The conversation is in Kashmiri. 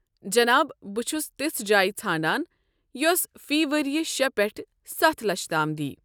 جناب، بہٕ چھُس تِژھ جاے ژھانڈان یۄس فی ؤرِیہ شے پٮ۪ٹھ سَتھ لچھ تام دیہ۔